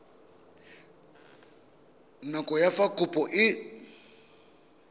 nako ya fa kopo e